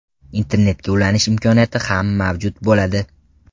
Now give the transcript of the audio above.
Internetga ulanish imkoniyati ham mavjud bo‘ladi.